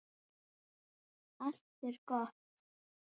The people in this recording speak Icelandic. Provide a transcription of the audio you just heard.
Allt er gott.